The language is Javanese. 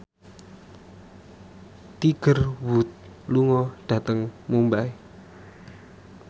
Tiger Wood lunga dhateng Mumbai